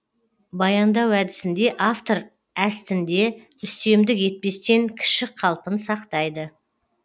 баяндау әдісінде автор әстінде үстемдік етпестен кішік қалпын сақтайды